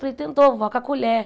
Falei, tentou vó, com a colher.